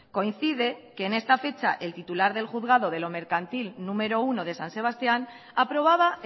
coincide que en esta fecha el titular del juzgado de lo mercantil número uno de san sebastián aprobaba